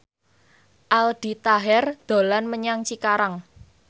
Aldi Taher dolan menyang Cikarang